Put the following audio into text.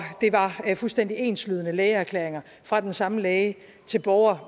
det var fuldstændig enslydende lægeerklæringer fra den samme læge til borgere